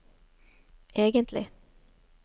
egentlig